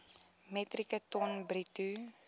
metrieke ton bruto